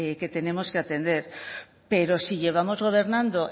que tenemos que atender pero si llevamos gobernando